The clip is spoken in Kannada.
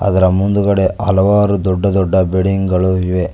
ಅದರ ಮುಂದುಗಡೆ ಹಲವಾರು ದೊಡ್ಡ ದೊಡ್ಡ ಬಿಲ್ಡಿಂಗ್ ಗಳು ಇವೆ.